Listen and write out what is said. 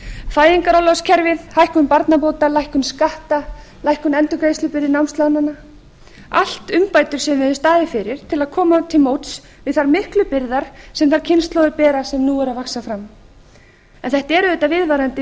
fæðingarorlofskerfið hækkun barnabóta lækkun skatta lækkun endurgreiðslubyrði námslánanna allt umbætur sem við höfum staðið fyrir til að koma til móts við þær miklu byrðar sem þær kynslóðir bera sem nú eru að vaxa fram en þetta er auðvitað viðvarandi